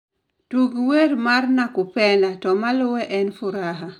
Tug wer mar nakupenda to maluwe en furaha